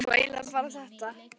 það var nú eiginlega bara þetta.